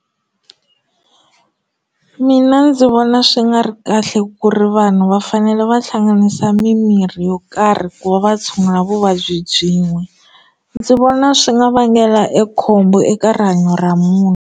Mina ndzi vona swi nga ri kahle ku ri vanhu va fanele va hlanganisa mimirhi yo karhi ku va va tshungula vuvabyi byin'we ndzi vona swi nga vangela e khombo eka rihanyo ra munhu.